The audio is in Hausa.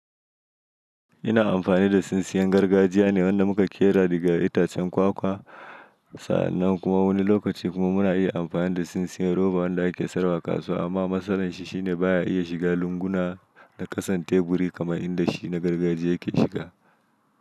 Ina amfani da tsintsiyan gargajiya ne wanda muka ƙera daga itacen kwakwa. Sa'annan kuma wani lokaci kuma muna iya amfani da tsintsiyan roba wanda ake sayarwa a kasuwa amma matsalar shi shine baya iya shiga lunguna da ƙasan teburi kamar inda shi na gargajiya ke shiga.